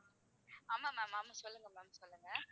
ஆமா ma'am ஆமா சொல்லுங்க ma'am சொல்லுங்க